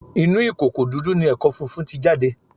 Inú ìkòkò dúdú ni ẹ̀kọ funfun ti jáde